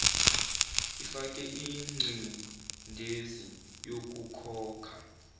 ifake ingcindezi yokukhokha